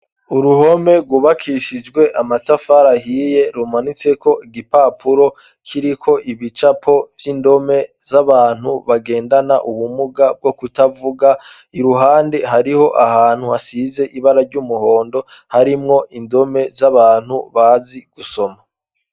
Uruhome rubakishijwe amatafarahiye rumanitseko igipapuro kiriko ibicapo vy'indome z'abantu bagendana ubumuga bwo kutavuga i ruhande hariho ahantu hasize ibara ry'umuhondo harimwo indome z'abantu bazi gusoma.